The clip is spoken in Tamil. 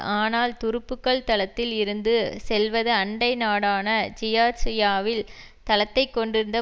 ஆனால் துருப்புக்கள் தளத்தில் இருந்து செல்வது அண்டை நாடான சியார்சியாவில் தளத்தை கொண்டிருந்த